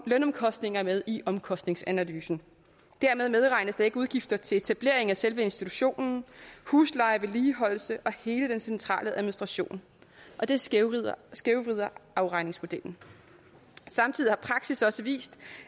lønomkostninger med i omkostningsanalysen dermed medregnes ikke udgifter til etablering af selve institutionen husleje vedligeholdelse og hele den centrale administration og det skævvrider skævvrider afregningsmodellen samtidig har praksis også vist